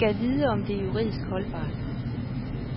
Gad vide om det er juridisk holdbart?